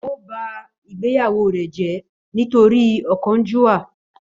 Ó ba ìgbéyàwó rẹ jẹ́ nítorí ọ̀kánjúwà